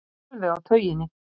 Alveg á tauginni.